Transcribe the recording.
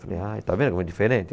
Falei, ai, está vendo como é diferente?